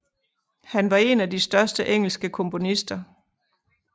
Han var en de de største engelske komponister